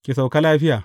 Ki sauka lafiya.